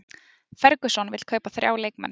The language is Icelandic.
Ferguson vill kaupa þrjá leikmenn